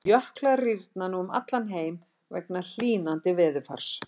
Jöklar rýrna nú um allan heim vegna hlýnandi veðurfars.